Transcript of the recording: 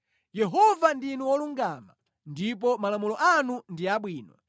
Yehova ndinu wolungama, ndipo malamulo anu ndi abwino.